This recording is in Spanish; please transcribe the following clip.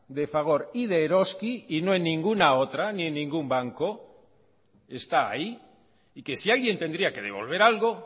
de fagor y de eroski y no en ninguna otra ni en ningún banco está ahí y que si alguien tendría que devolver algo